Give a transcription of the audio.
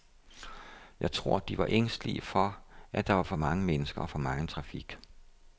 Jeg tror, de var ængstelige for, at der var for mange mennesker og for megen trafik.